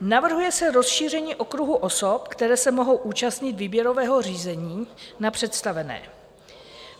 Navrhuje se rozšíření okruhu osob, které se mohou účastnit výběrového řízení na představené.